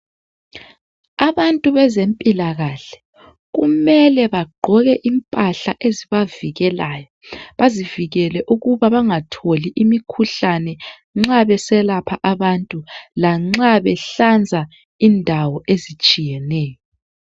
Abantu bezempilakahle kumele bagqoke impahla ezibavikelayo. Bazivikele ukuba bengatholi umkhuhlane nxa beselapha abantu lanxa behlanza indawo ezitshiyeneyo.